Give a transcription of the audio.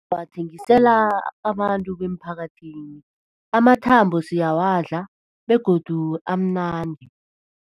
Bathengisela abantu bemphakathini, amathambo siyawadla begodu amnandi.